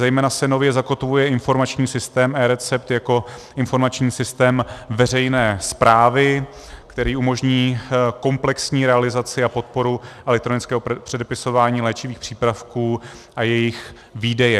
Zejména se nově zakotvuje informační systém eRecept jako informační systém veřejné správy, který umožní komplexní realizaci a podporu elektronického předepisování léčivých přípravků a jejich výdeje.